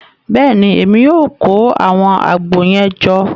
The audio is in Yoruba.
Bẹẹni, Èmí o kó awọn àgbo yẹn jọ